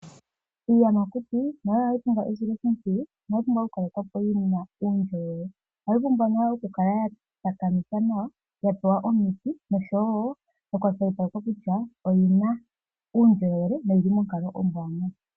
Iiyamakuti nayo ohayi pumbwa esiloshimpwiyu nohayi pumbwa okukalekwa po yina uundjolwele. Ohayi pumbwa nayo okukala ya takamithwa nawa, ya pewa omiti nosho wo okukwashilipalekwa kutya oyina uundjolowele noyili monkalo ombwanawa.